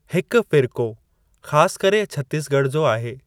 हिकु फ़िर्क़ो ख़ासि करे छत्तीसगढ़ जो आहे।